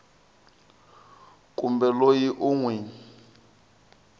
kumbe loyi u n wi